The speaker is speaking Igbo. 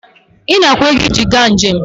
Ị na-akwụ ego iji gaa njem